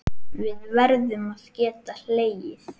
Við verðum að geta hlegið.